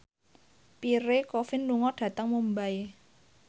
Pierre Coffin lunga dhateng Mumbai